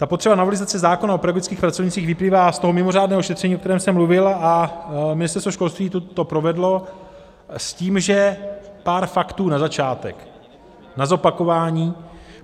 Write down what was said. Ta potřeba novelizace zákona o pedagogických pracovnících vyplývá z toho mimořádného šetření, o kterém jsem mluvil, a Ministerstvo školství to provedlo s tím, že pár faktů na začátek, na zopakování.